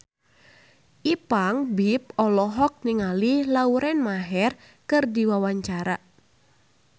Ipank BIP olohok ningali Lauren Maher keur diwawancara